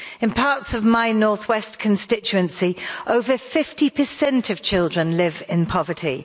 In parts of my North West constituency over 50 of children live in poverty.